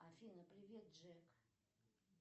афина привет джек